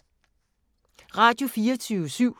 Radio24syv